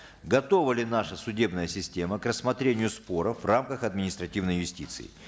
готова ли наша судебная система к рассмотрению споров в рамках административной юстиции